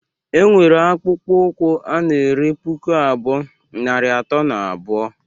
Enwere akpụkpọ ụkwụ ana ere puku abụọ, narị atọ na abuo.